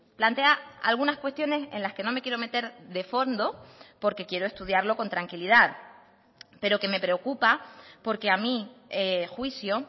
plantea algunas cuestiones en las que no me quiero meter de fondo porque quiero estudiarlo con tranquilidad pero que me preocupa porque a mi juicio